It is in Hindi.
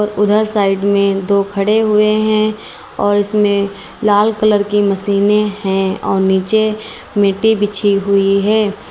उधर साइड में दो खड़े हुए है और इसमें लाल कलर की मशीनें है और नीचे मिट्टी बिछी हुई है।